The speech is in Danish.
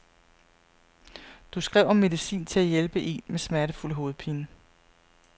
Du skrev om medicin til at hjælpe en med smertefuld hovedpine.